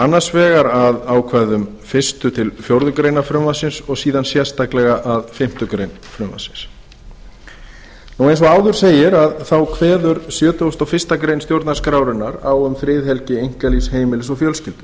annars vegar að ákvæðum fyrstu til fjórðu grein frumvarpsins og síðan sérstaklega að fimmtu grein frumvarpsins eins og áður segir kveður sjötugasta og fyrstu grein stjórnarskrárinnar á um friðhelgi einkalífs heimilis og fjölskyldu